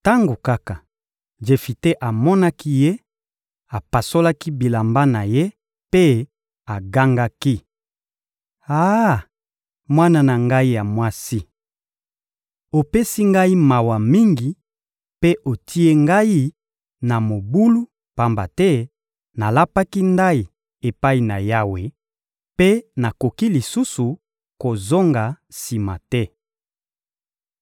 Tango kaka Jefite amonaki ye, apasolaki bilamba na ye mpe agangaki: — Ah, mwana na ngai ya mwasi! Opesi ngai mawa mingi mpe otie ngai na mobulu, pamba te nalapaki ndayi epai na Yawe mpe nakoki lisusu kozonga sima te.